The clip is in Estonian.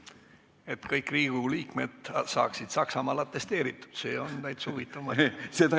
Et kõik Riigikogu liikmed saaksid Saksamaal atesteeritud, see on täitsa huvitav mõte.